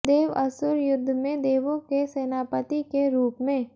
देव असुर युद्ध में देवो के सेनापति के रूप में